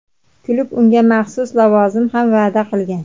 Klub unga maxsus lavozim ham va’da qilgan;.